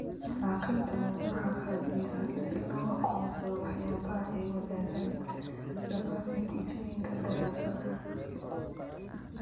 Falanqaynta mawduuc qaabaysan si loo aqoonsado waxyaabaha ay wadaagaan dhammaan natiijooyinka daraasadaha.